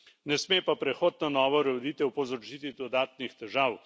Ne sme pa prehod na novo ureditev povzročiti dodatnih težav.